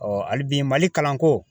hali bi MALI kalanko